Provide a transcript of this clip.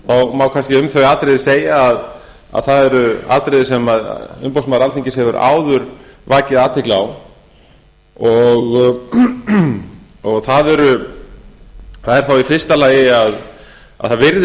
má kannski um þau atriði segja að það eru atriði sem umboðsmaður alþingis hefur áður vakið athygli á það er þá í fyrsta lagi að það virðist